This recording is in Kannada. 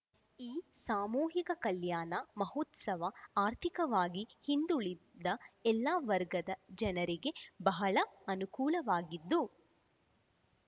ಈ ಸಾಮೂಹಿಕ ಕಲ್ಯಾಣ ಮಹೋತ್ಸವ ಆರ್ಥಿಕವಾಗಿ ಹಿಂದುಳಿದ ಎಲ್ಲ ವರ್ಗದ ಜನರಿಗೆ ಬಹಳ ಅನುಕೂಲವಾಗಿದ್ದು